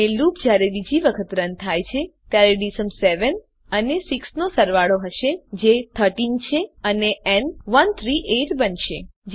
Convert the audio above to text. અને લૂપ જયારે બીજી વખત રન થાય છે ત્યારેdSum 7 અને 6 નો સરવાળો હશે જે 13 છે અને ન 138 બનશે